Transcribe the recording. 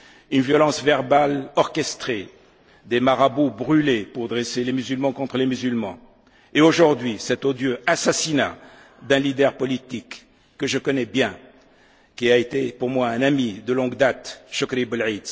Une violence verbale orchestrée, des marabouts brûlés, pour dresser les musulmans contre les musulmans, et aujourd'hui, cet odieux assassinat d'un leader politique que je connais bien, qui a été pour moi un ami de longue date, Chokri Belaïd.